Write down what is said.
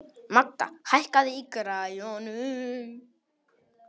Magda, hækkaðu í græjunum.